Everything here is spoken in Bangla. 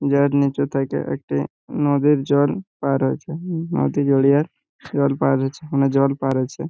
যার নিচ থেকে একটি নদের জল পার হয়ছে হুমম জল পার হছে মানে জল পার হছে।